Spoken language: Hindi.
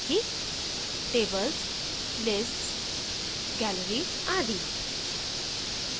tables lists gallery आदि